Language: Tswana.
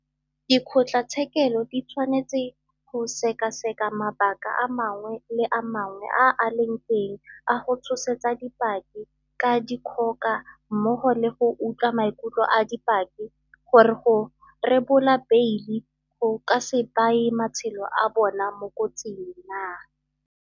Dikgotlatshekelo di tshwanetse go sekaseka mabaka a mangwe le a mangwe a a leng teng a go tshosetsa dipaki ka dikgoka mmogo le go utlwa maikutlo a dipaki gore go rebola beile go ka se baye matshelo a bona mo kotsing naa.